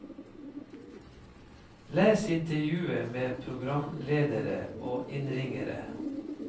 Les intervjuet med programledere og innringere.